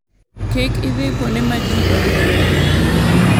Kik idhi kuonde ma ji oheroe limo.